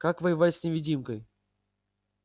как воевать с невидимкой